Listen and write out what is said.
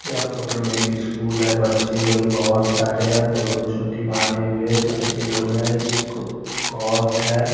या फोटो में एक स्कूल है बच्चे लोग बोहोत सारे है दो दो छोटी बंधे हुए बच्चे लोग है को कोट है ।